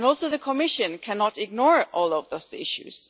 The Commission cannot ignore all of those issues.